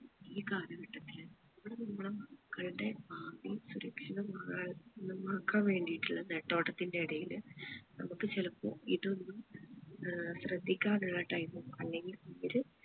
ഈ കാലഘട്ടത്തില് നമ്മള് നമ്മുടെ മക്കളുടെ ഭാവി സുരക്ഷിതമാ ഏർ മാക്കാൻ വേണ്ടീട്ടുള്ള നെട്ടോട്ടത്തിന്റെ എടയില് നമ്മക്ക് ചിലപ്പോ ഇതൊന്നും ഏർ ശ്രദ്ധിക്കാനുള്ള time അല്ലെങ്കി ഒരു